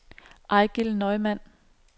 Eigil Neumann